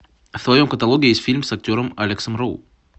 в твоем каталоге есть фильм с актером алексом роу